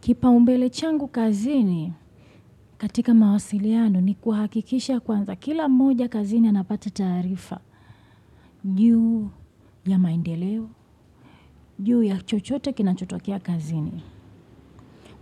Kipa umbele changu kazini katika mawasiliano ni kuhakikisha kwanza. Kila moja kazini anapata taarifa. Juu ya maendeleo, juu ya chochote kinachotokea kazini.